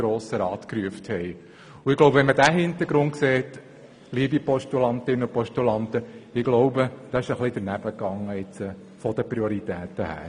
Vor diesem Hintergrund ging das bezüglich der Prioritäten wohl ein bisschen daneben.